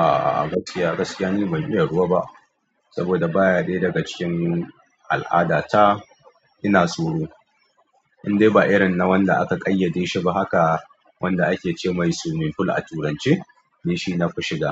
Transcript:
A'a gaskiya, gaskiya ni ban iya ruwa ba saboda baya ɗaya daga cikin al'adata ina tsoro. Indai ba irinna wanda aka ƙayyadeshi ba haka wanda ake cemai swimming fool shine nake shiga